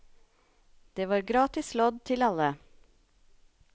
Det var gratis lodd til alle.